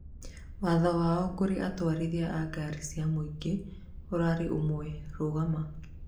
watho wao kũrĩ atwarithia a ngari cia mũingĩ ũrari ũmwe: "rugama!